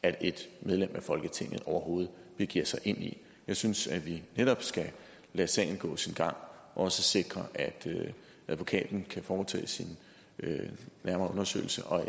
at et medlem af folketinget overhovedet begiver sig ind i den jeg synes at vi netop skal lade sagen gå sin gang og så sikre at advokaten kan foretage sin nærmere undersøgelse og